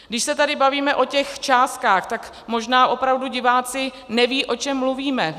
Když se tady bavíme o těch částkách, tak možná opravdu diváci nevědí, o čem mluvíme.